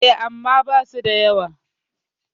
E, amma basu da yawa.